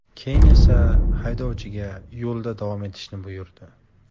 Keyin esa haydovchiga yo‘lda davom etishni buyurdi.